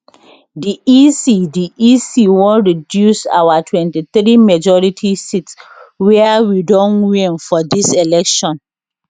di ec di ec wan reduce our 23 majority seats wia we don win for dis election